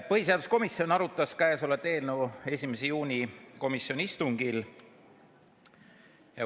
Põhiseaduskomisjon arutas kõnealust eelnõu 1. juuni komisjoni istungil.